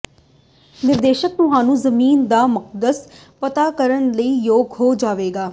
ਨਿਰਦੇਸ਼ ਤੁਹਾਨੂੰ ਜ਼ਮੀਨ ਦਾ ਮਕਸਦ ਪਤਾ ਕਰਨ ਲਈ ਯੋਗ ਹੋ ਜਾਵੇਗਾ